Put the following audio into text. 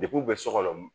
Depi u bɛ sogol